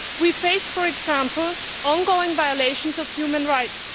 We face, for example, ongoing violations of human rights.